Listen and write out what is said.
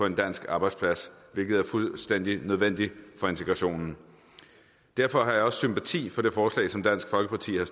en dansk arbejdsplads hvilket er fuldstændig nødvendigt for integrationen derfor har jeg også sympati for det forslag som dansk folkeparti har